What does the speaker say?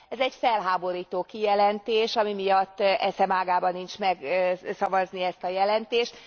Ez egy felháborító kijelentés, ami miatt eszem ágában sincs megszavazni ezt a jelentést.